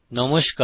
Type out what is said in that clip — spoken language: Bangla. নমস্কার